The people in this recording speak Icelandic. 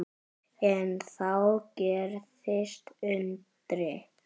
En þá gerðist undrið.